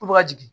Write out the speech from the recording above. Ko bɛ ka jigin